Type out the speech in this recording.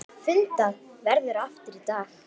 Fundað verður aftur í dag.